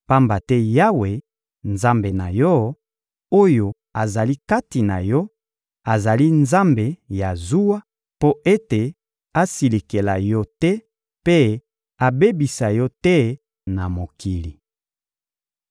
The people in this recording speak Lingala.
pamba te Yawe, Nzambe na yo, oyo azali kati na yo, azali Nzambe ya zuwa, mpo ete asilikela yo te mpe abebisa yo te na mokili.